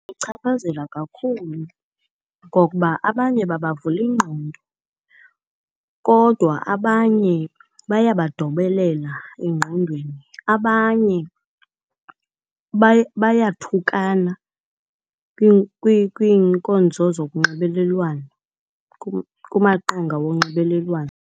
Ibachaphazela kakhulu ngokuba abanye babavula ingqondo. Kodwa abanye bayabadobelela engqondweni, abanye bayathukana kwiinkonzo zokunxibelelwano kumaqonga wonxibelelwano.